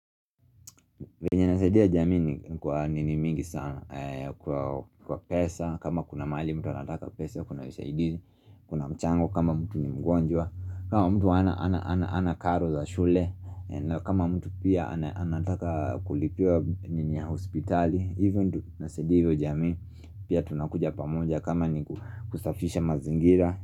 Venye nasaidia jamii ni kwa nini mingi sana kwa pesa, kama kuna mali mtu anataka pesa, kuna usaidizi, kuna mchango kama mtu ni mgonjwa, kama mtu ana karo za shule, kama mtu pia anataka kulipiwa nini ya hospitali, hivo ndo tunasaidia hivo jamii pia tunakuja pamoja kama ni kusafisha mazingira.